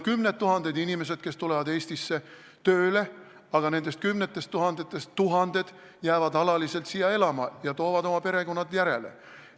Kümned tuhanded inimesed tulevad Eestisse tööle, aga nendest kümnetest tuhandetest tuhanded jäävad alaliselt siia elama ja toovad oma perekonnad järele.